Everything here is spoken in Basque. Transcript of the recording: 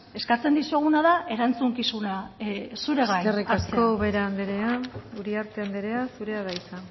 eskatzen dizuguna da erantzukizuna zure gain eskerrik asko ubera anderea uriarte anderea zurea da hitza